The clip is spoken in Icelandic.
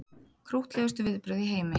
Krúttlegustu viðbrögð í heimi